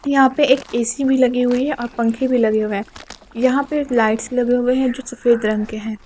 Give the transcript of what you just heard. यहां पे एक ए_सी भी लगी हुई है औ पंखे भी लगे हुए हैं यहां पे लाइट्स लगे हुए हैं जो सफेद रंग के हैं।